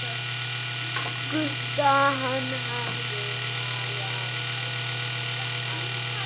Gutta, hann hafði malað hann.